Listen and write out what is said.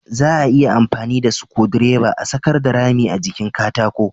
Za a iya amfani da sukudireba a sakarda rami a jikin katako